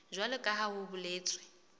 jwalo ka ha ho boletswe